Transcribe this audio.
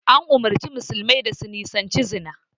An umarci musulmai da su nisanci zina